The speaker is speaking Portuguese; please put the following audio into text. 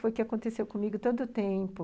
Foi o que aconteceu comigo tanto tempo...